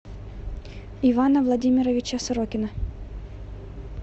ивана владимировича сорокина